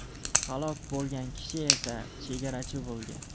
Halok bo‘lgan kishi esa chegarachi bo‘lgan.